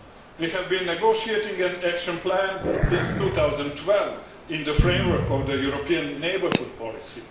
We have been negotiating an Action Plan since 2012 in the framework of the European Neighbourhood Policy.